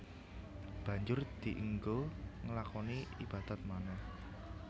Banjur dienggo nglakoni ibadat manèh